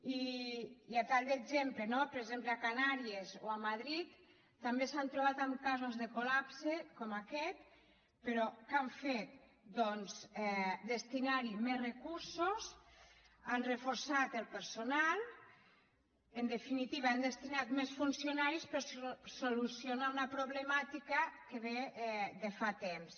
i a tall d’exemple per exemple a les canàries o a madrid també s’han trobat amb casos de col·lapse com aquest però què han fet doncs destinar hi més recursos han reforçat el personal en definitiva han destinat més funcionaris per solucionar una problemàtica que ve de fa temps